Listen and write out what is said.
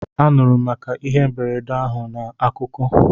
Anụrụ m maka ihe mberede ahụ na akụkọ